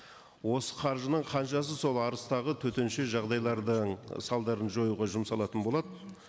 осы қаржының қаншасы сол арыстағы төтенше жағдайлардың салдарын жоюға жұмсалатын болады